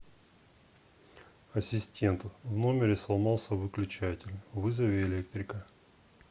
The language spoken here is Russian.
ассистент в номере сломался выключатель вызови электрика